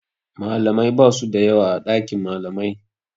Malamai basu da yawa a ɗakin malamai.